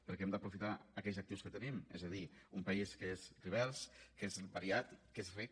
perquè hem d’aprofitar aquells actius que tenim és a dir un país que és divers que és variat que és ric